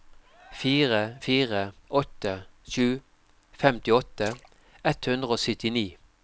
fire fire åtte sju femtiåtte ett hundre og syttini